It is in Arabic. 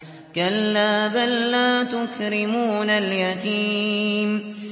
كَلَّا ۖ بَل لَّا تُكْرِمُونَ الْيَتِيمَ